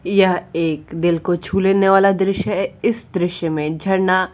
यह एक दिल को छू लेने वाला दृश्य है। इस दृश्य में एक झरना --